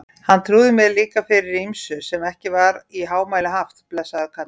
Hann trúði mér líka fyrir ýmsu sem ekki var í hámæli haft, blessaður kallinn.